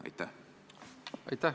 Aitäh!